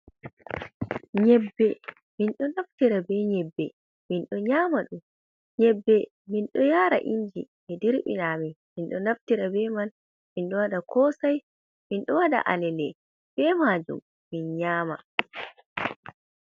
Nyebbe, minɗo naftira be nyebbe mindo nyama dum. Nyebbe, min ɗo yaara inji ɓe dirɓina amin min ɗoo naftira be man min ɗo waɗa kosai, min ɗo waɗa alele be maajum min nyama.